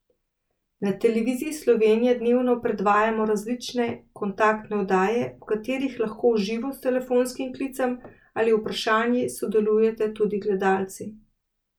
Na Televiziji Slovenija dnevno predvajamo različne kontaktne oddaje, v katerih lahko v živo s telefonskim klicem in vprašanji sodelujete tudi gledalci.